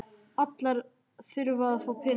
Allir þurfa að fá peninga.